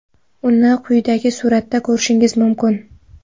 Uni quyidagi suratda ko‘rishingiz mumkin.